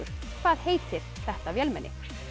hvað heitir þetta vélmenni